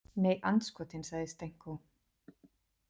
Nei, andskotinn, sagði Stenko.